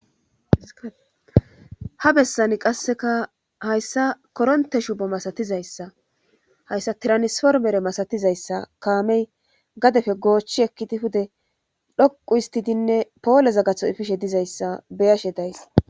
Ha bessani qasseka hayssa koronte shubo masatizayssa hayssa tiranisformere masatizayssa kaamey gadefe goochchi ekkidi hude dhoqu istidinne poole zaggatho ifishe dizayssa beyashe days